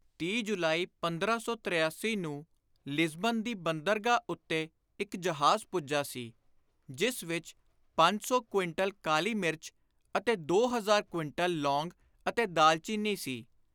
30 ਜੁਲਾਈ 1583 ਨੂੰ ਲਿਜ਼ਬਨ ਦੀ ਬੰਦਰਗਾਹ ਉੱਤੇ ਇਕ ਜਹਾਜ਼ ਪੁੱਜਾ ਸੀ, ਜਿਸ ਵਿਚ ਪੰਜ ਸੌ ਕੁਇੰਟਲ ਕਾਲੀ ਮਿਰਚ ਅਤੇ ਦੋ ਹਜ਼ਾਰ ਕੁਇੰਟਲ ਲੌਂਗ ਅਤੇ ਦਾਲਚੀਨੀ ਸੀ।